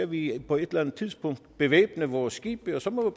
vi på et eller andet tidspunkt bevæbne vores skibe og så må